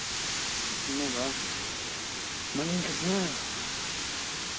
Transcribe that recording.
ну да маленько знаю